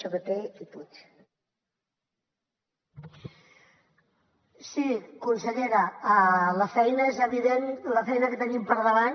sí consellera la feina és evident la feina que tenim per davant